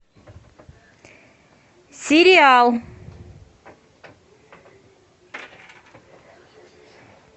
сериал